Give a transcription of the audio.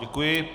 Děkuji.